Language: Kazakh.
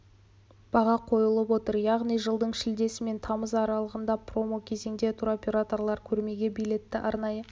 баға қойылып отыр яғни жылдың шілдесі мен тамызы аралығындағы промо кезеңде туроператорлар көрмеге билетті арнайы